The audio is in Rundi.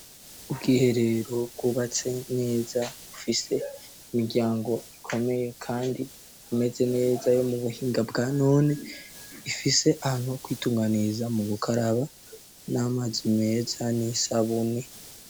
Ubwiherero kubatse neza ufise imiryango ikomeye kandi imeze neza yo mu buhinga bwanone ifise ahantu kwitunganiriza mu bukaraba n'amazi meza n'isabuni.